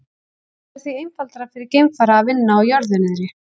Það væri því einfaldara fyrir geimfara að vinna á jörðu niðri.